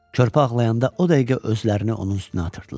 Körpə ağlayanda o dəqiqə özlərini onun üstünə atırdılar.